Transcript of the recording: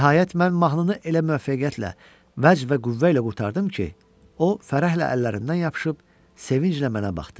Nəhayət mən mahnını elə müvəffəqiyyətlə, vəcd və qüvvə ilə qurtardım ki, o fərəhlə əllərindən yapışıb, sevinclə mənə baxdı.